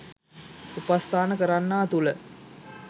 උපස්ථාන කරන්නා තුළ